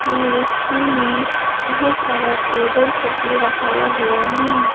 ये रेस्टोरेंट में बहोत सारा टेबल सभी रखाया हुआ है।